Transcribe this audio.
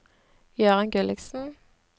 Jøran Gulliksen